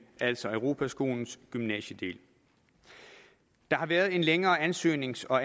altså europaskolens gymnasiedel der har været en længere ansøgnings og